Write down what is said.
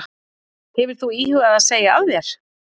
Hefur þú íhugað að segja af þér?